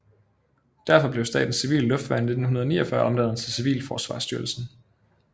Derfor blev Statens Civile Luftværn i 1949 omdannet til Civilforsvarsstyrelsen